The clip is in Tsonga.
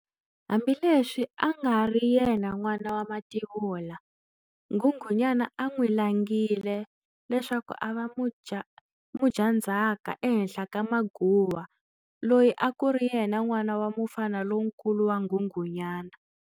Hambi leswi a angari yena n'wana wa mativula, Nghunghunyana a a n'wi langhile leswaku ava mudyandzhaka ehenhla ka Maguwa, loyi akuri yena n'wana wa mufana lonkulu wa Nghunghunyana.